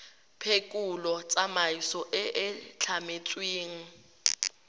phekolo tsamaiso e e tlametsweng